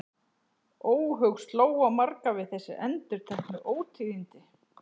Óhug sló á marga við þessi endurteknu ótíðindi.